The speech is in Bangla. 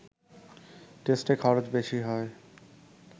টেস্টে খরচ বেশি হয়